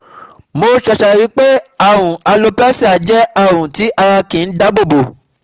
Mo ṣẹ̀ṣẹ̀ rí i pé àrùn alopecia jẹ́ àrùn tí ara kì í dáàbò bò